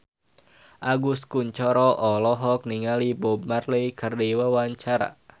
Agus Kuncoro olohok ningali Bob Marley keur diwawancara